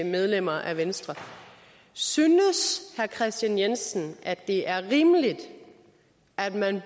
medlemmer af venstre synes herre kristian jensen det er rimeligt at man